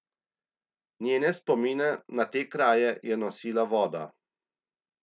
Njene spomine na te kraje je nosila voda.